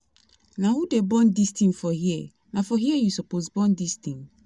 Na who dey burn dis thing for here Na for here you suppose burn dis thing